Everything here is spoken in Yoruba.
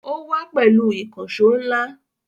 Ó wá pẹ̀lú ìkànṣọ́ ńlá